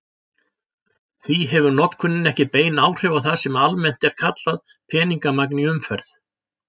Því hefur notkunin ekki bein áhrif á það sem almennt er kallað peningamagn í umferð.